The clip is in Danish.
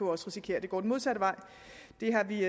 risikere at det går den modsatte vej det har vi